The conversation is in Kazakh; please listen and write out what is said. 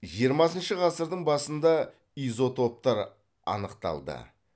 жиырмасыншы ғасырдың басында изотоптар анықталды